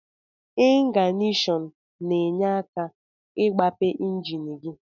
Ingnasion na enye aka igbape enjin gi.